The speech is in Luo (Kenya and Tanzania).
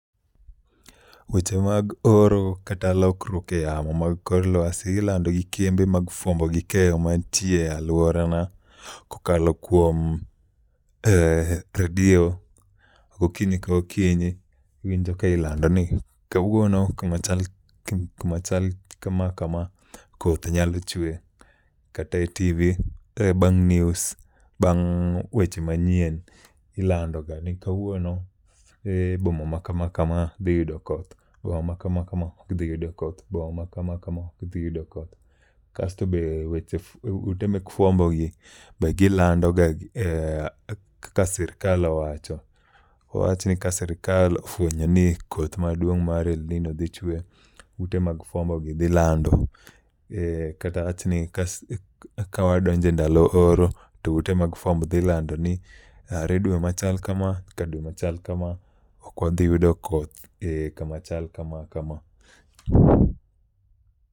Weche mag ooro kata lokruok e yamo mar kor lwasi ilando gi kembe mar fwambo gi keyo man tie e aluora na ki ilando e redio okinyi ka okinyi iwinjo ki ilando ni kawuono kuma chal ka ma ka ma koth dhi chwe kata e tv bang news bang' weche manyien ilando ga ni boma ma ka ma ka ma boma ma kam ka ma dhi yudo koth ,kasto be weche be ute mag fwambo gi be gi lando ga ni ka sirkal owacho ka sirkal ofwenyo ni koth ma duong' mar elnino dhi chwe, ute mag fwambo gi dhi lando, kata awach ni ka wadonjo e ndalo oro to ute fwambo gi dhi lando. Kata awach ni ka wa donjo e ndalo oro to ute fwambo gi dhi lando ni are dwe ma chal kama nyaka dwe ma chal ka ma ok wadhi yudo koth ka ma achal ka ma kama.